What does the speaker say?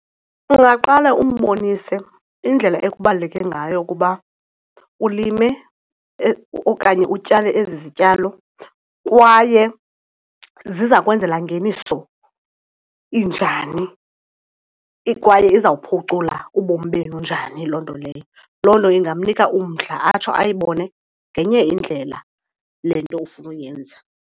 Ungaqale umbonise indlela ekubaluleke ngayo ukuba ulime okanye utyale ezi zityalo kwaye zizakwenzela ngeniso injani kwaye izawuphucula ubomi benu njani loo nto leyo. Loo nto ingamnika umdla atsho ayibone ngenye indlela le nto ufuna uyenza.